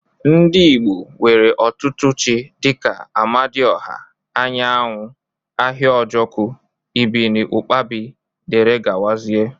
Ndi igbo nwere otutu chi dika: amadi ọha, anyanwụ, ahiajoku ibiniụkpabi dgz.